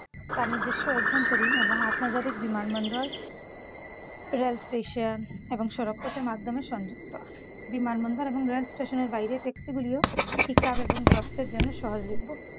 তার নিজস্ব অভ্যন্তরীণ এবং আন্তর্জাতিক বিমানবন্দর, রেলস্টেশন এবং সড়কপথের মাঝখানে সংযুক্ত হয়। বিমানবন্দর এবং রেলস্টেশনের বাইরে টেক্সিগুলিও পিকআপ এবং ড্রপসের জন্য সহজলভ্য।